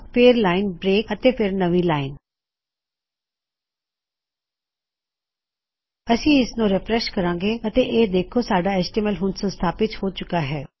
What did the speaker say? ਫੇਰ line break ਅਤੇ ਫੇਰ ਨਵੀ ਲਾਇਨ ਅਸੀਂ ਇਸਨੂੰ ਰਿਫਰੈੱਸ਼ ਕਰਾਂਗੇ ਅਤੇ ਇਹ ਦੇਖੋ ਸਾਡਾ ਐਚਟੀਐਮਐਲ ਹੁਣ ਸੰਸਥਾਪਿਤ ਹੋ ਚੁਕਾ ਹੈ